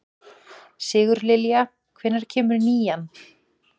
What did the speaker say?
Sigurlilja, hvenær kemur nían?